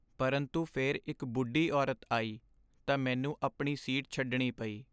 ਪਰੰਤੂ ਫਿਰ ਇੱਕ ਬੁੱਢੀ ਔਰਤ ਆਈ ਤਾਂ ਮੈਨੂੰ ਆਪਣੀ ਸੀਟ ਛੱਡਣੀ ਪਈ।